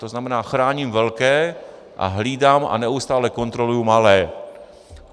To znamená, chráním velké a hlídám a neustále kontroluji malé.